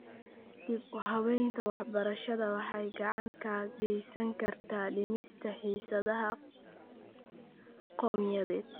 Dib-u-habaynta waxbarashada waxay gacan ka geysan kartaa dhimista xiisadaha qowmiyadeed ee .